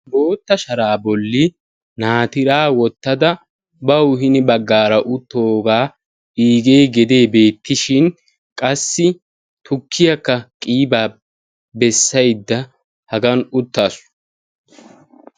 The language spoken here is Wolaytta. Boota sharaa bolli naatira wottada bawu hini baggara uttoga igee geede betishin, qassi tuukiyaka qiba beasayda hagan uttasu.